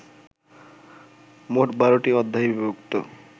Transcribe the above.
মোট ১২টি অধ্যায়ে বিভক্ত